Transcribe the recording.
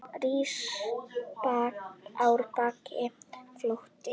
Rís árbakki fljóti hjá.